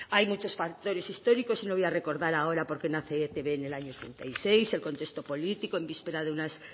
hay muchos factores históricos y no voy a recordar ahora por qué nace etb en el año ochenta y seis el contexto político en vísperas de unas